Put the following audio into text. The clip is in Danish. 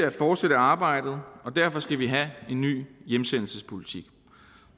at fortsætte arbejdet og derfor skal vi have en ny hjemsendelsespolitik